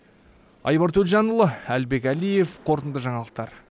айбар төлжанұлы әлібек әлиев қорытынды жаңалықтар